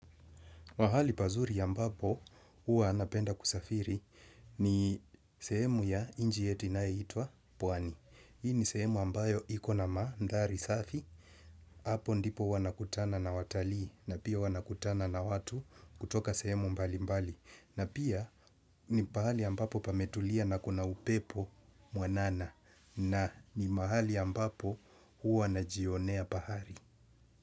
Pahali pazuri ambapo huwa napenda kusafiri ni sehemu ya inji yetu inaetwa Pwani. Hii ni sehemu ambayo ikona ma mandhari safi. Apo ndipo huwa nakutana na watalii na pia huwa nakutana na watu kutoka sehemu mbali mbali. Na pia ni pahali ambapo pametulia na kuna upepo mwanana na ni mahali ambapo huwa najionea pahari.